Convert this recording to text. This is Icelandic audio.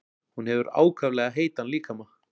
Hún hefur ákaflega heitan líkama.